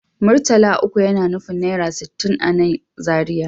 Murtala uku yana nufin naira sittin a nan Zariya